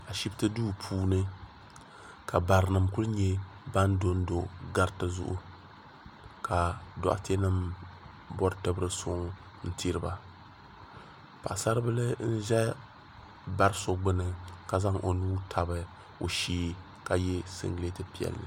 Ashipti duu puuni ka barinima kuli nyɛ ban dondo gariti zuɣu ka doɣate nima bori tibiri suŋ n tiriba paɣasabila n za bari so gbini la zaŋ o nuu tabi o shee ka ye singileti piɛlli.